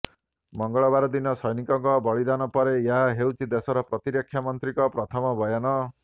ମଙ୍ଗଳବାର ଦିନ ସୈନିକଙ୍କ ବଳିଦାନ ପରେ ଏହା ହେଉଛି ଦେଶର ପ୍ରତିରକ୍ଷାମନ୍ତ୍ରୀଙ୍କ ପ୍ରଥମ ବୟାନ